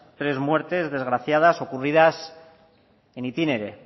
tres muertes desgraciadas ocurridas in itinere